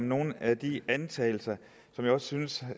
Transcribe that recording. nogle af de antagelser som jeg også synes